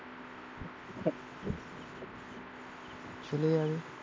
চলে যাবে.